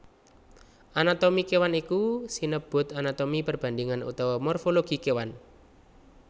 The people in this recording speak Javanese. Anatomi kéwan iku sinebut anatomi perbandhingan utawa morfologi kéwan